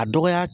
A dɔgɔya